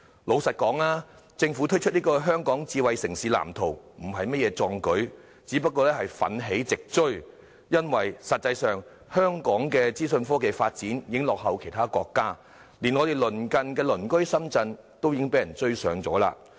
老實說，政府推出《香港智慧城市藍圖》並非甚麼壯舉，只是奮起直追，因為實際上，香港的資訊科技發展已經落後其他國家，連鄰近的深圳亦已追上我們。